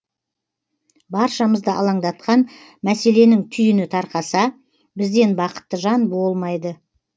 баршамызды алаңдатқан мәселенің түйіні тарқаса бізден бақытты жан болмайды